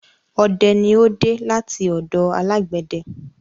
Ọdẹ ni ó dé láti ọ̀dọ alágbẹ̀dẹ